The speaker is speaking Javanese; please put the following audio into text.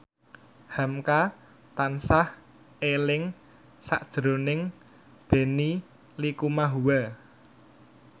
hamka tansah eling sakjroning Benny Likumahua